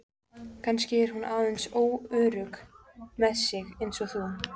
Kannski er hún aðeins óörugg með sig eins og þú.